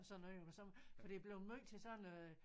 Og sådan noget for det er bleven måj til sådan noget